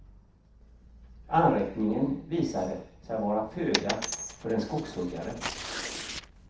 Anrättningen visade sig vara föda för en skogshuggare.